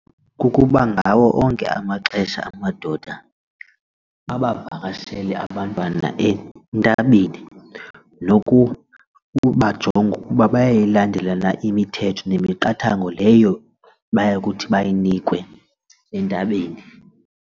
Kukuba ngawo onke amaxesha amadoda abavakashele abantwana entabeni nokuba ubajonge ukuba bayayilandela na imithetho nemiqathango leyo bayakuthi bayinikwe entabeni.